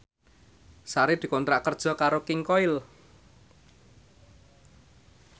Sari dikontrak kerja karo King Koil